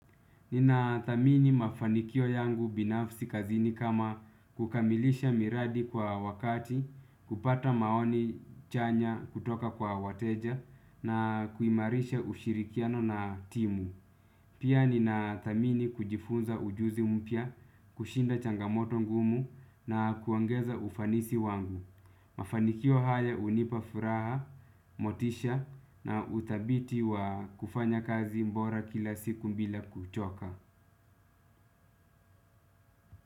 Ninathamini mafanikio yangu binafsi kazini kama kukamilisha miradi kwa wakati, kupata maoni chanya kutoka kwa wateja na kuimarisha ushirikiano na timu. Pia ninathamini kujifunza ujuzi mpya, kushinda changamoto ngumu na kuongeza ufanisi wangu. Mafanikio haya hunipa furaha, motisha na utabiti wa kufanya kazi bora kila siku bila kuchoka.